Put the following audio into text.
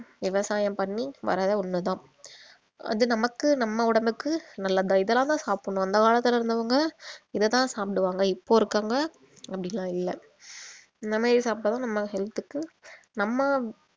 விவசாயம் பண்ணி வர்ற ஒண்ணுதான் அது நமக்கு நம்ம உடம்புக்கு நல்லது இதெல்லாம் தான் சாப்பிடணும் அந்த காலத்துல இருந்தவங்க இத தான் சாப்பிடுவாங்க இப்போ இருக்கிறவங்க அப்படி எல்லாம் இல்ல இந்த மாதிரி சாப்பிட்டா தான் நம்ம health க்கு நம்ம